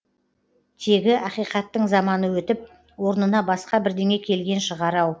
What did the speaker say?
тегі ақиқаттың заманы өтіп орнына басқа бірдеңе келген шығар ау